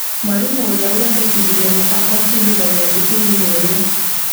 Mwarimũ ũrĩa ũrendekithirie mũbango abundithagia thukuru-inĩ ũrĩa